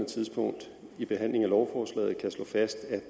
tidspunkt i behandlingen af lovforslaget kan slå fast at